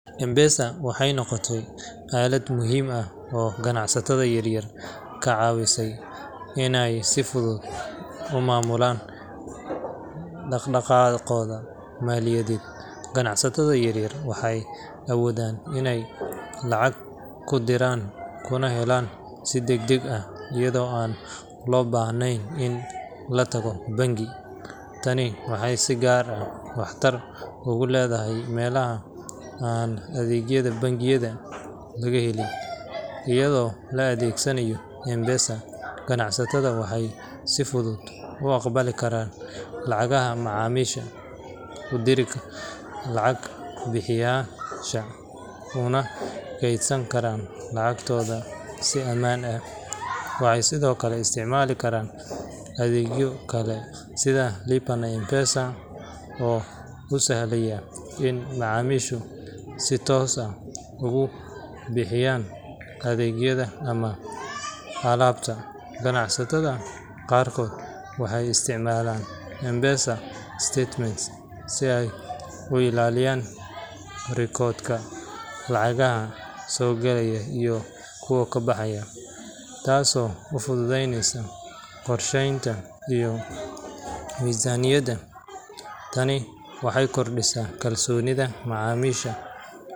M-Pesa waxay noqotay aalad muhiim ah oo ganacsatada yaryar ka caawisa inay si fudud u maamulaan dhaqdhaqaaqooda maaliyadeed. Ganacsatada yaryar waxay awoodaan inay lacag ku diraan kuna helaan si degdeg ah iyadoo aan loo baahnayn in la tago bangi. Tani waxay si gaar ah waxtar ugu leedahay meelaha aan adeegyada bangiyada laga helin. Iyadoo la adeegsanayo M-Pesa, ganacsatadu waxay si fudud u aqbali karaan lacagaha macaamiisha, u diraan lacag bixiyeyaasha, una kaydsan karaan lacagtooda si ammaan ah. Waxay sidoo kale isticmaali karaan adeegyo kale sida Lipa na M-Pesa, oo u sahlaya in macaamiishu si toos ah ugu bixiyaan adeegyada ama alaabta. Ganacsatada qaarkood waxay isticmaalaan M-Pesa statements si ay u ilaaliyaan rikoodhka lacagaha soo gala iyo kuwa baxa, taasoo u fududeysa qorsheynta iyo miisaaniyadda. Tani waxay kordhisaa kalsoonida macaamiisha.